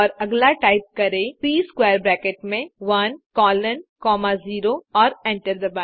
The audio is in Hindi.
और अगला टाइप करें सी स्क्वैर ब्रैकेट में 1 कोलोन कॉमा 0 और एंटर दबाएँ